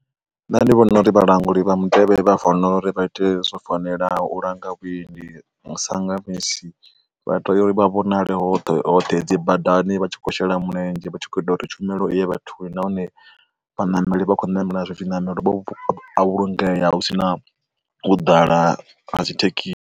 Nṋe ndi vhona uri vhalanguli vha mutevhe vha fanela uri vha te zwo fanelaho u langa vhuendi sa nga misi. vha tea uri vha vhonale hoṱhe hoṱhe hedzi badani vha tshi khou shela mulenzhe vha tshi kho ita uri tshumelo vhathuni nahone vhaṋameli vha khou namela zwi zwiṋamelo vha vhulungea hu si na u ḓala ha tshi thekhi.